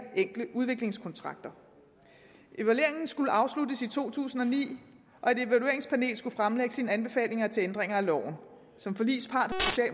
enkle udviklingskontrakter evalueringen skulle afsluttes i to tusind og ni og et evalueringspanel skulle fremlægge sine anbefalinger til ændringer af loven som forligspart